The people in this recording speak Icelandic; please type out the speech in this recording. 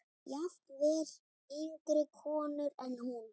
Jafnvel yngri konur en hún.